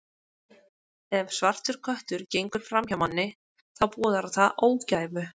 Ef svartur köttur gengur fram hjá manni, þá boðar það ógæfu.